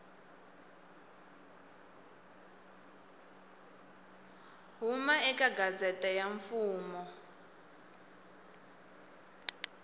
huma eka gazette ya mfumo